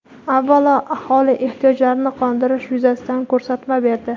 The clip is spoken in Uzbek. avvalo aholi ehtiyojlarini qondirish yuzasidan ko‘rsatma berdi.